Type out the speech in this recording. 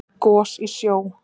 Gos í sjó